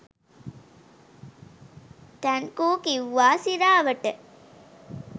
thank you කිව්වා සිරාවට